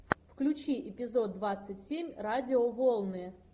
включи эпизод двадцать семь радиоволны